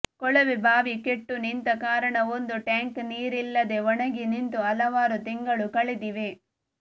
ಕೊಳವೆಬಾವಿ ಕೆಟ್ಟು ನಿಂತ ಕಾರಣ ಒಂದು ಟ್ಯಾಂಕ್ ನೀರಿಲ್ಲದೆ ಒಣಗಿ ನಿಂತು ಹಲವಾರು ತಿಂಗಳು ಕಳೆದಿವೆ